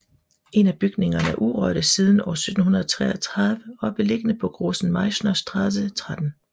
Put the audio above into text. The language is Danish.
En af bygningerne er urørte siden år 1733 og er beliggende på Großen Meißner Straße 13